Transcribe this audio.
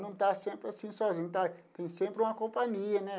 Não está sempre assim sozinho, tem sempre uma companhia, né?